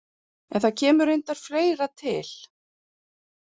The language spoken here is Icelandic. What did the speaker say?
En það kemur reyndar fleira til.